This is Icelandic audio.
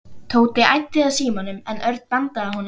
Tóti æddi að símanum en Örn bandaði honum frá sér.